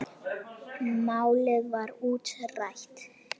Málið var útrætt.